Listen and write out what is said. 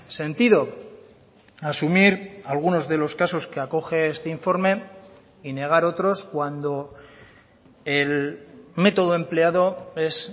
sentido asumir algunos de los casos que acoge este informe y negar otros cuando el método empleado es